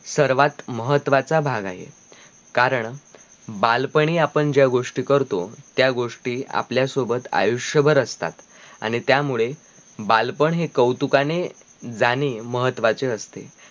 सर्वात महत्वाचा भाग आहे, कारण बालपणी आपण ज्या गोष्टी करतो त्या गोष्टी आपल्या सोबत आयुष्यभर असतात आणी त्या मुळे बालपण हि कौतुकाने, जाणे महत्वाचे असते